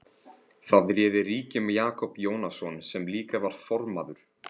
Þar réði ríkjum Jakob Jónasson sem líka var formaður